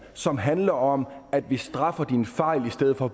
som handler om at vi straffer dine fejl i stedet for at